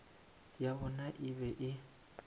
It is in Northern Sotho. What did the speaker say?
ya bona e be e